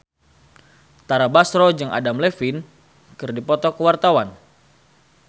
Tara Basro jeung Adam Levine keur dipoto ku wartawan